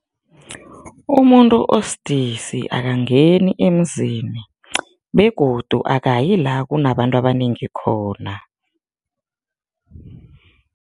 Umuntu osidisi akangeni emzini begodu akayi la kunabantu abanengi khona.